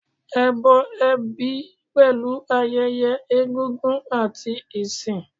Ẹbọ ẹbí pẹ̀lú ayẹyẹ egúngún àti ìsìn.